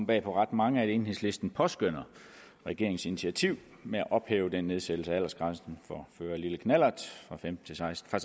bag på ret mange at enhedslisten påskønner regeringens initiativ med at ophæve den nedsættelse af aldersgrænsen for at føre lille knallert fra seksten